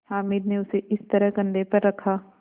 हामिद ने उसे इस तरह कंधे पर रखा